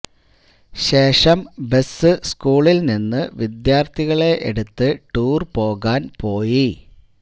ശേഷം ബസ് സ്കൂളിൽ നിന്ന് വിദ്യാർത്ഥികളെ എടുത്ത് ടൂർ പോകാൻ പോയി